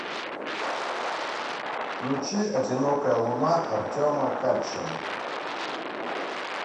включи одинокая луна артема качера